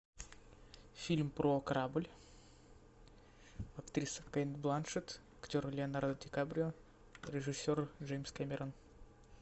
фильм про корабль актриса кейт бланшетт актер леонардо ди каприо режиссер джеймс кэмерон